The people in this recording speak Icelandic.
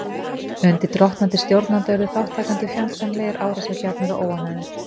Undir drottnandi stjórnanda urðu þátttakendur fjandsamlegir, árásargjarnir og óánægðir.